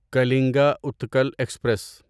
Kalinga Utkal express